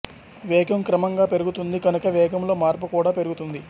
వేగం క్రమంగా పెరుగుతుంది కనుక వేగంలో మార్పు కూడా పెరుగుతుంది